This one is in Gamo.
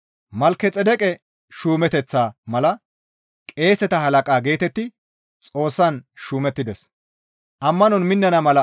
Malkexeedeqe shuumeteththaa mala qeeseta halaqa geetetti Xoossan shuumettides.